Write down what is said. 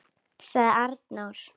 ., sagði Arnór.